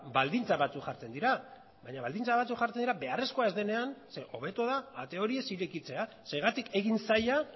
baldintza batzuk jartzen dira baina baldintza batzuk jartzen dira beharrezkoa denean zeren hobeto da ate hori ez irekitzea zergatik egin zaila